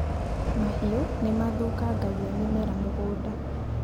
Mahiũ nĩ mathũkangagia mĩmera mũgũnda